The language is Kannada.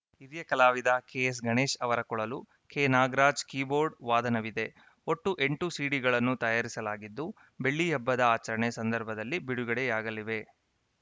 ಹಿರಿಯ ಕಲಾವಿದ ಕೆಎಸ್‌ಗಣೇಶ್‌ ಅವರ ಕೊಳಲು ಕೆನಾಗರಾಜ್‌ ಕೀಬೋರ್ಡ್‌ ವಾದನವಿದೆ ಒಟ್ಟು ಎಂಟು ಸಿಡಿಗಳನ್ನು ತಯಾರಿಸಲಾಗಿದ್ದು ಬೆಳ್ಳಿಹಬ್ಬದ ಆಚರಣೆ ಸಂದರ್ಭದಲ್ಲಿ ಬಿಡುಗಡೆಯಾಗಲಿವೆ